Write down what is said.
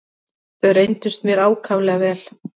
Þau reyndust mér ákaflega vel.